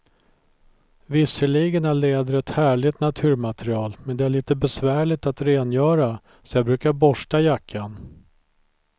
Visserligen är läder ett härligt naturmaterial, men det är lite besvärligt att rengöra, så jag brukar borsta jackan.